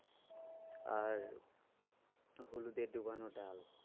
আর হলুদে ডোবানো ডাল।